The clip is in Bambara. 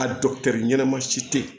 A ɲɛnama si tɛ yen